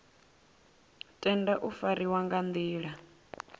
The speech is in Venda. tenda u fariwa nga nḓila